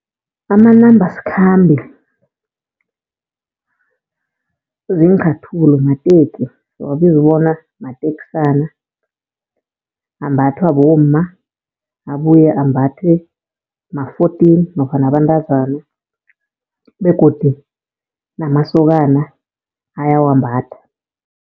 Amanambasikhambe ziinchathulo, mateki siwabiza bona mateksana. Ambathwa bomma, abuye ambathwe ma-fourteen nofana abantazana begodu namasokana ayawambatha.